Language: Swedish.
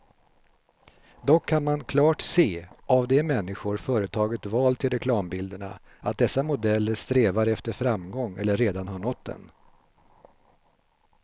Dock kan man klart se av de människor företaget valt till reklambilderna, att dessa modeller strävar efter framgång eller redan har nått den.